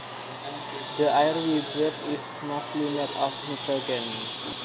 The air we breathe is mostly made of nitrogen